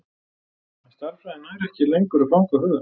En stærðfræðin nær ekki lengur að fanga huga hans.